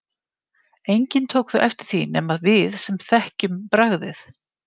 Enginn tók þó eftir því nema við sem þekkjum bragðið.